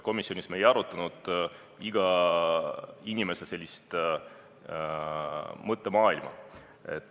Komisjonis me ei arutanud iga inimese mõttemaailma.